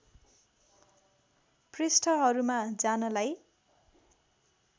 पृष्ठहरूमा जानलाई